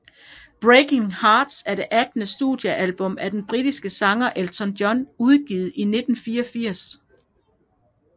Breaking Hearts er det attende studiealbum af den britiske sanger Elton John udgivet i 1984